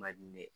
Man di ne ye